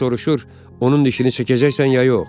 Alkaz soruşur, onun dişini çəkəcəksən ya yox?